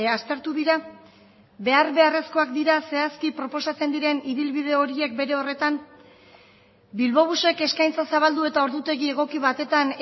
aztertu dira behar beharrezkoak dira zehazki proposatzen diren ibilbide horiek bere horretan bilbobusek eskaintza zabaldu eta ordutegi egoki batetan